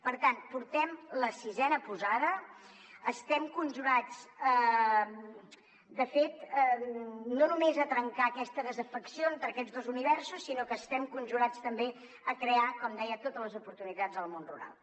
per tant portem la sisena posada estem conjurats de fet no només a trencar aquesta desafecció entre aquests dos universos sinó que estem conjurats també a crear com deia totes les oportunitats del món rural